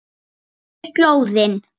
Og ég vandist því.